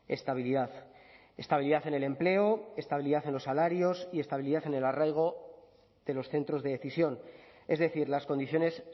estabilidad estabilidad en el empleo estabilidad en los salarios y estabilidad en el arraigo de los centros de decisión es decir las condiciones